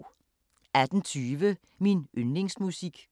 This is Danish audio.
18:20: Min yndlingsmusik